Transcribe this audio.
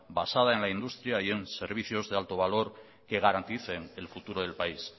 basada en la industria y en servicios de alto valor que garanticen el futuro del país